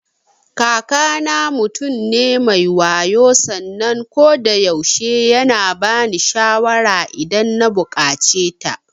Kakana mutum ne me wayo sannan kodayaushe yana bani shawara idan na buƙaceta.